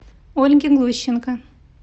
ольге глущенко